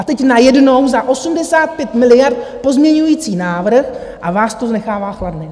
A teď najednou za 85 miliard pozměňovací návrh a vás to nechává chladným.